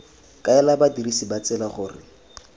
kaela badirisi ba tsela gore